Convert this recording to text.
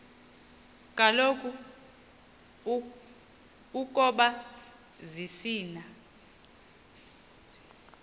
kaloku ukoba zisina